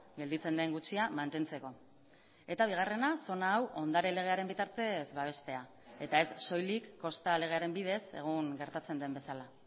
gelditzen den gutxia mantentzeko eta bigarrena zona hau ondare legearen bitartez babestea eta ez soilik kosta legearen bidez egun gertatzen den bezala